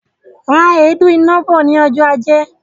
Ra èédú iná bọ̀ ní ọjọ ajé